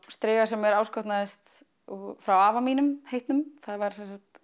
striga sem mér áskotnaðist frá afa mínum heitnum hann var